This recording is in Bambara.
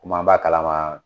Kumi an b'a kalama